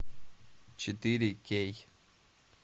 четыре кей